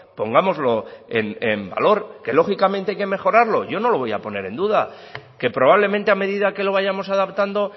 pongámoslo en valor que lógicamente hay que mejorarlo yo no lo voy a poner en duda qué probablemente a medida que lo vayamos adaptando